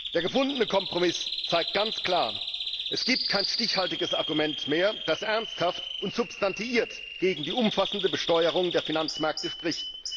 Der gefundene Kompromiss zeigt ganz klar Es gibt kein stichhaltiges Argument mehr, das ernsthaft und substantiiert gegen die umfassende Besteuerung der Finanzmärkte spricht.